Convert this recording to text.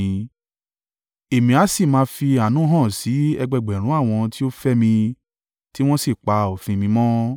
Èmi a sì máa fi àánú hàn sí ẹgbẹẹgbẹ̀rún àwọn tí ó fẹ́ mi, tí wọ́n sì ń pa òfin mi mọ́.